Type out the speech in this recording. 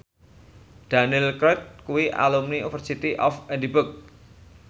Daniel Craig kuwi alumni University of Edinburgh